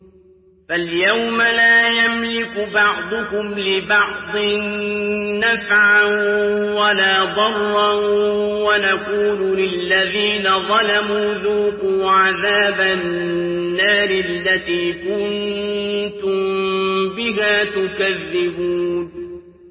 فَالْيَوْمَ لَا يَمْلِكُ بَعْضُكُمْ لِبَعْضٍ نَّفْعًا وَلَا ضَرًّا وَنَقُولُ لِلَّذِينَ ظَلَمُوا ذُوقُوا عَذَابَ النَّارِ الَّتِي كُنتُم بِهَا تُكَذِّبُونَ